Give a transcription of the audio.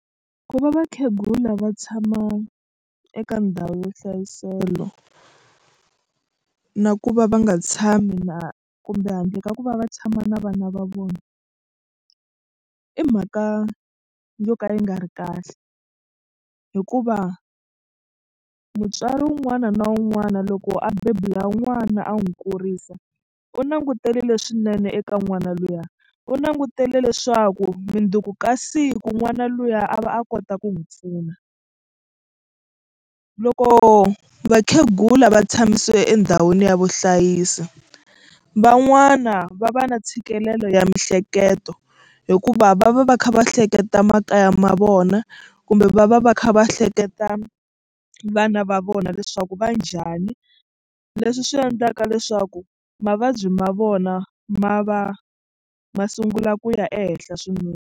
Ku va vakhegula va tshama eka ndhawu yo hlayisela na ku va va nga tshami na kumbe handle ka ku va va tshama na vana va vona i mhaka yo ka yi nga ri kahle hikuva mutswari wun'wana na wun'wana loko a bebula n'wana a n'wi kurisa u langutele leswinene eka n'wana luya u langutele leswaku mundzuku ka siku n'wana luya a va a kota ku n'wi pfuna. Loko vakhegula va tshamisiwa endhawini ya vuhlayisi van'wana va va na ntshikelelo ya miehleketo hikuva va va va kha va hleketa makaya ma vona kumbe va va va kha va hleketa vana va vona leswaku va njhani leswi swi endlaka leswaku mavabyi ma vona ma va ma sungula ku ya ehenhla swinene.